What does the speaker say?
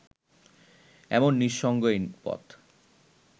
এমন নিঃসঙ্গ এই পথ